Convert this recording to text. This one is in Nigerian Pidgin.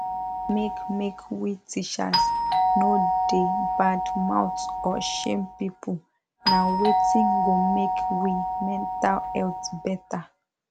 make make we teachers no da bad mouth or shame people na wetin go make we mental health better